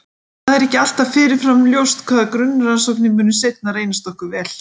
Og það er ekki alltaf fyrirfram ljóst hvaða grunnrannsóknir munu seinna reynast okkur vel.